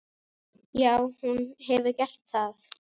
Já, hún hefur gert það.